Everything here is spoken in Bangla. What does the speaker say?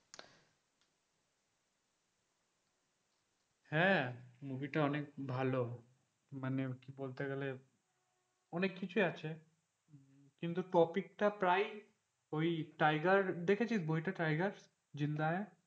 হ্যাঁ movie টা অনেক ভালো। মানে বলতে গেলে অনেক কিছুই আছে। কিন্তু topic টা প্রায় ওই টাইগার দেখেছিস বইটা টাইগার জিন্দা হ্যায়।